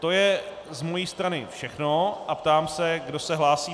To je z mé strany všechno a ptám se, kdo se hlásí.